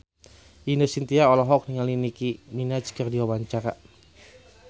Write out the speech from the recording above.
Ine Shintya olohok ningali Nicky Minaj keur diwawancara